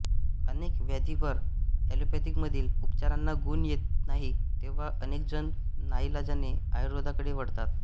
अनेक व्याधींवर एलोपॅथीमधील उपचारांचा गुण येत नाही तेव्हा अनेकजण नाईलाजाने आयुर्वेदाकडे वळतात